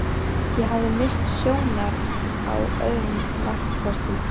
Ég hafði misst sjónar á öðrum valkostum.